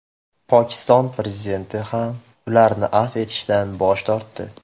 Pokiston prezidenti ham ularni afv etishdan bosh tortdi.